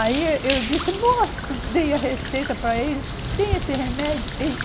Aí eu disse, moço, dei a receita para ele, tem esse remédio. Ei